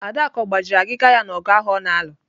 Adaku ọ gbajiri agịga ya n'ogụ ahụ ọ na-alụ?